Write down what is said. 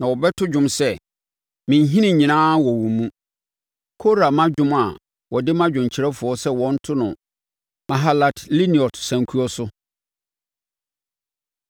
Na wɔbɛto dwom sɛ, “Me nhini nyinaa wɔ wo mu.” Kora mma dwom a wɔde ma dwomkyerɛfoɔ sɛ wɔnto no “Mahalat Leannot” sankuo so.